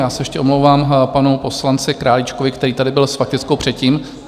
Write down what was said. Já se ještě omlouvám panu poslanci Králíčkovi, který tady byl s faktickou předtím.